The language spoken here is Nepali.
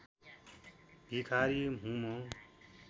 भिखारी हुँ म